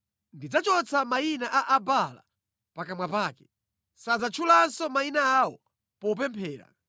Ndidzachotsa mayina a Abaala pakamwa pake; sadzatchulanso mayina awo popemphera.